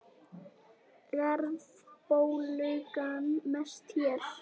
Verðbólgan mest hér